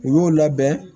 U y'o labɛn